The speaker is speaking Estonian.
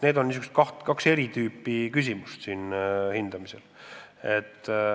Need on siis kaks eri tüüpi kategooriat toimunu hindamisel.